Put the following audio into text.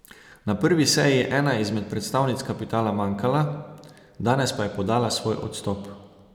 Na prvi seji je ena izmed predstavnic kapitala manjkala, danes pa je podala svoj odstop.